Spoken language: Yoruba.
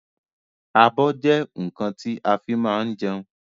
Abọ́ jẹ́ nkan ti a fi máa ń jẹun